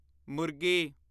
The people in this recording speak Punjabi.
ਮੁਰਗੀ